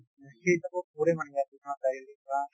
সেই হিচাপত